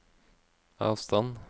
avstand